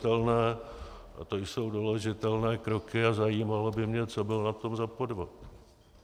To jsou doložitelné kroky a zajímalo by mě, co bylo na tom za podvod.